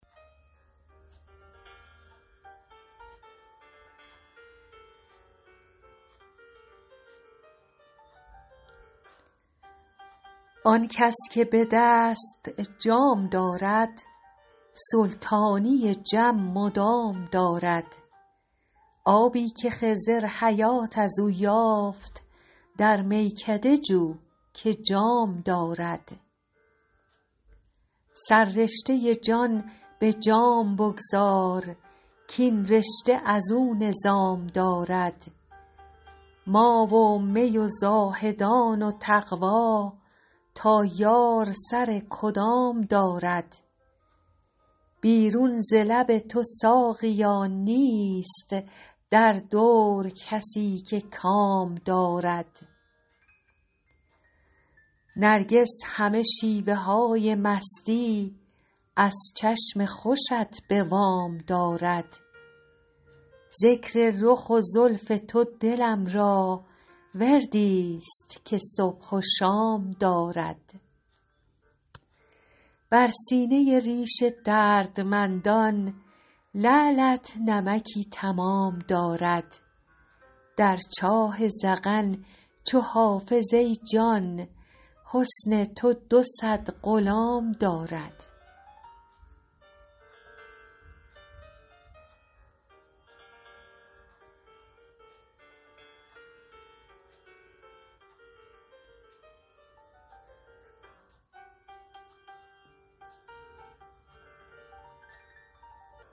آن کس که به دست جام دارد سلطانی جم مدام دارد آبی که خضر حیات از او یافت در میکده جو که جام دارد سررشته جان به جام بگذار کاین رشته از او نظام دارد ما و می و زاهدان و تقوا تا یار سر کدام دارد بیرون ز لب تو ساقیا نیست در دور کسی که کام دارد نرگس همه شیوه های مستی از چشم خوشت به وام دارد ذکر رخ و زلف تو دلم را وردی ست که صبح و شام دارد بر سینه ریش دردمندان لعلت نمکی تمام دارد در چاه ذقن چو حافظ ای جان حسن تو دو صد غلام دارد